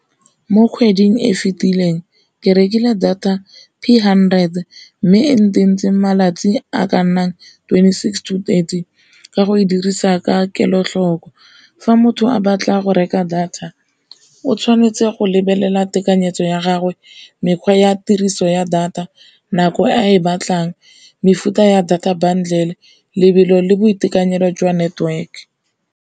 Mo kgweding e fitileng ke rekile data hundred, mme e nteng ntseng malatsi a ka nnang twenty six to thirty ka go e dirisa ka kelotlhoko, fa motho a batla go reka data o tshwanetse go lebelela tekanyetso ya gagwe, mekgwa ya tiriso ya data nako a e batlang mefuta ya data bundle, lebelo le boitekanelo jwa network.